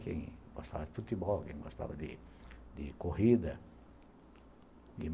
Quem gostava de futebol, quem gostava de de corrida.